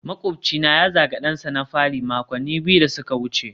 makwabcina ya zagi dansa na fari makonni biyu da suka wuce